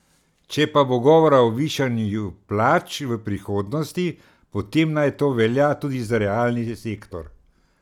Če pa bo govora o višanju plač v prihodnosti, potem naj to velja tudi za realni sektor.